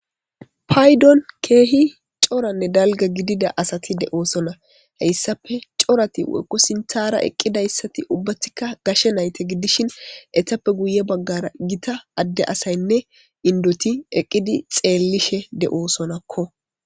Paydon keehi corane dalga gidiza asati de'osona heysape corati woyko sinthara eqidaysati ubatika gashe nayta gidishin eetapeka guye bagara gita gidiza asyne indoti eqidi xeelishe de'osonako.